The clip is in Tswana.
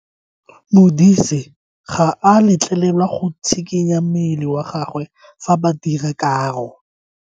Modise ga a letlelelwa go tshikinya mmele wa gagwe fa ba dira karo.